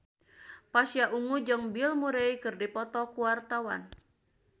Pasha Ungu jeung Bill Murray keur dipoto ku wartawan